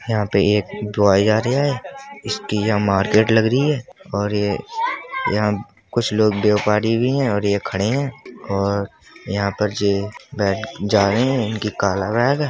यहाँ पर एक है। इसकी यहाँ मार्केट लग रही है और ये यहाँ कुछ लोग व्यापारी भी हैं और ये खड़े हैं और यहाँ पर जे बैठ जा रहे हैं। इनकी काला बैग है।